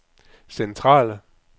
centrale